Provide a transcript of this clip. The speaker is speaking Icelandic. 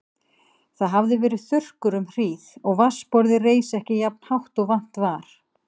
Það hafði verið þurrkur um hríð og vatnsborðið reis ekki jafnt hátt og vant var.